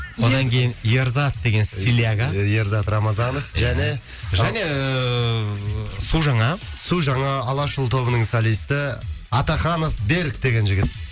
одан кейін ерзат деген стиляга ерзат рамазанов және және ыыы су жаңа су жаңа алашұлы тобының солисті атаханов берік деген жігіт